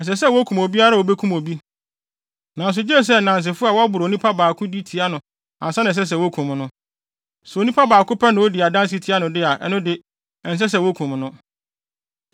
“ ‘Ɛsɛ sɛ wokum obiara a obekum obi, nanso gye sɛ nnansefo a wɔboro onipa baako di tia no ansa na ɛsɛ sɛ wokum no. Sɛ onipa baako pɛ na odi adanse tia no de a, ɛno de, ɛnsɛ sɛ wokum no.